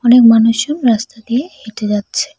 অনেক মানুষজন রাস্তা দিয়ে হেঁটে যাচ্ছে।